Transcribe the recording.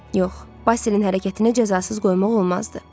Yox, Basilin hərəkətini cəzasız qoymaq olmazdı.